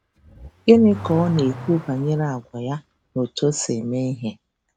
Gịnị ka ọ na - ekwu banyere àgwà ya na otú o si eme ihe?